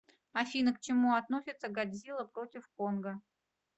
афина к чему относится годзилла против конга